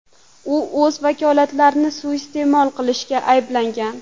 U o‘z vakolatlarini suiiste’mol qilishda ayblangan.